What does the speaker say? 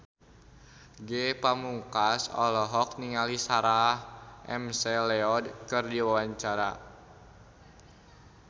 Ge Pamungkas olohok ningali Sarah McLeod keur diwawancara